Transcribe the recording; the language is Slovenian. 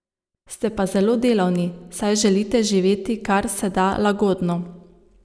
Ste pa zelo delavni, saj želite živeti kar se da lagodno.